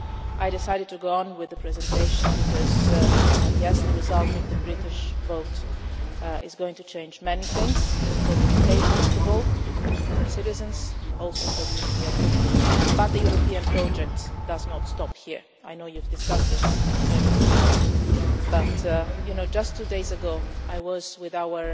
I decided to go on with the presentation because, yes, the result of the British vote is going to change many things for the UK, first of all, for the UK's citizens, and also for the European Union but the European project does not stop here. I know you discussed this earlier this morning but just two days ago I was with